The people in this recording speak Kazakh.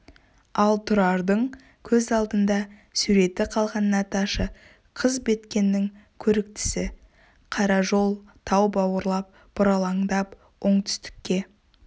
ал тұрардың көз алдында суреті қалған наташа қыз біткеннің көріктісі қара жол тау бауырлап бұралаңдап оңтүстікке